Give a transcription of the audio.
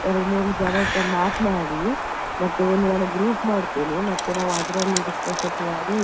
ಎರಡು ಮೂರು ಜನರತ್ರ ಮಾತ್ನಾಡಿ ಮತ್ತೆ ಒಂದು ನಾನು group ಮಾಡ್ತೇನೆ. ಮತ್ತೆ ನಾವು ಅದ್ರಲ್ಲಿ discussion ಮಾಡಿ